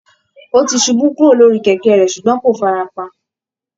Ó ti ṣubú kúrò lórí kẹ̀kẹ́ rẹ̀ ṣùgbọ́n kò fara pa